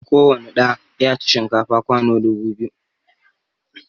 Kowani ɗa ya ci shinkafa kwano dubu biyu